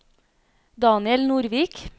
Daniel Nordvik